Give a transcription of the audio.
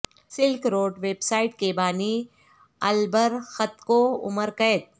silk Road website کے بانی Ulbricht کو عمر قید